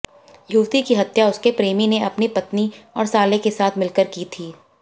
युवती की हत्या उसके प्रेमी ने अपनी पत्नी और साले के साथ मिलकर की थी